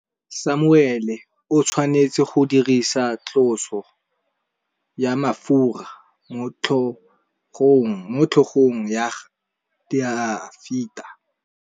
Samuele o tshwanetse go dirisa tlotsô ya mafura motlhôgong ya Dafita.